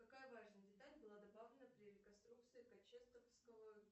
какая важная деталь была добавлена при реконструкции